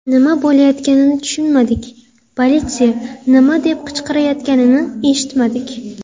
Nima bo‘layotganini tushunmadik, politsiya nima deb qichqirayotganini eshitmadik.